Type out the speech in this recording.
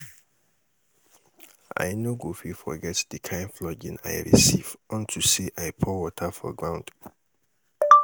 I no go fit forget the kin flogging I receive unto say I pour water for ground